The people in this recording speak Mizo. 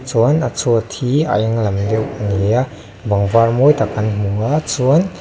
chuan a chhuat hi a eng lang deuh ni a bang var mawi tak kan hmu a chuan--